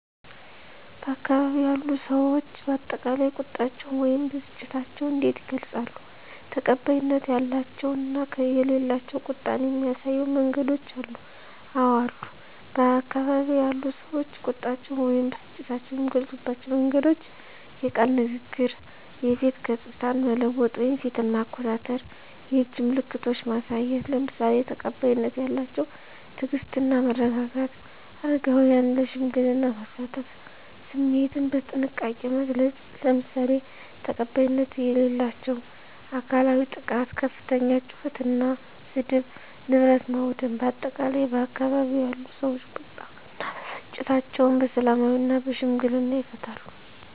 በአካባቢው ያሉ ሰዎች በአጠቃላይ ቁጣቸውን ወይም ብስጭታቸውን እንዴት ይገልጻሉ? ተቀባይነት ያላቸው እና የሌላቸው ቁጣን የሚያሳዩ መንገዶች አሉ? *አወ አሉ፦ በአካባቢው ያሉ ሰዎች ቁጣቸውን ወይም ብስጭታቸውን የሚገልጹባቸው መንገዶች፦ * የቃል ንግግር *የፊት ገጽታን መለወጥ (ፊትን ማኮሳተር)፣ *የእጅ ምልክቶችን ማሳየት፣ **ለምሳሌ፦ ተቀባይነት ያላቸው * ትዕግስት እና መረጋጋት: * አረጋውያንን ለሽምግልና ማሳተፍ።: * ስሜትን በጥንቃቄ መግለጽ: **ለምሳሌ፦ ተቀባይነት የሌላቸው * አካላዊ ጥቃት * ከፍተኛ ጩኸት እና ስድብ: * ንብረት ማውደም: በአጠቃላይ፣ ባካባቢው ያሉ ሰዎች ቁጣ እና ብስጭታቸውን በሰላማዊና በሽምግልና ይፈታሉ።